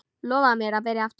Lofaðu mér að byrja aftur!